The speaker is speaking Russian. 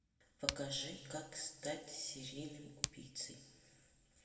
покажи как стать серийным убийцей